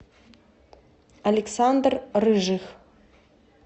александр рыжих